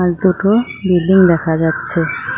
আর দুটো বিল্ডিং দেখা যাচ্ছে।